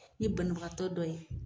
N ye banabagatɔ dɔ ye